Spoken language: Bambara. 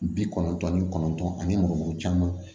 Bi kɔnɔntɔn ni kɔnɔntɔn ani mɔgo caman